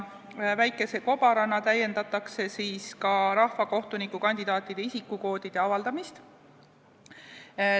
Väikese kobarana täiendatakse ka rahvakohtuniku kandidaatide isikukoodide avaldamist.